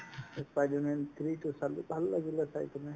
spider-man three তো চালো ভাল লাগিলে চাই কিনে